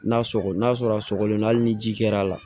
N'a sɔgɔgɔ n'a sɔrɔ a sɔgɔlen hali ni ji kɛr'a la